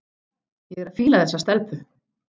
Ég er að fíla þessa stelpu.